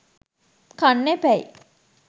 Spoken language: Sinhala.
කන්න එපැයි